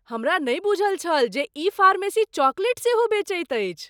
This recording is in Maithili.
हमरा नहि बूझल छल जे ई फार्मेसी चॉकलेट सेहो बेचैत अछि!